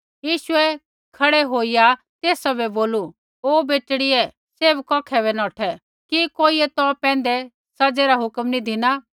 यीशुऐ खड़ै होईया तेसा बै बोलू ओ बेटड़ियै सैभ कौखै बै नौठै कि कोइयै तौ पैंधै सज़ै री हुक्म नी धिना